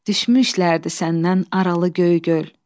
Düşmüşlərdi səndən aralı göy gül.